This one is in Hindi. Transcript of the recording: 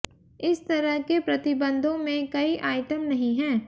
इस तरह के प्रतिबंधों में कई आइटम नहीं है